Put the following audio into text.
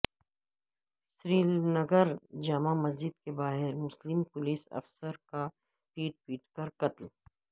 سری نگر جامع مسجد کے باہرمسلم پولس افسر کا پیٹ پیٹ کر قتل